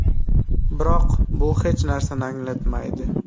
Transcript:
Biroq bu hech narsani anglatmaydi.